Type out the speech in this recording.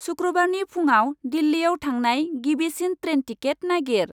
सुक्रुबारनि फुंआव दिल्लीयाव थांनाय गिबिसिन ट्रेन टिकेट नागिर।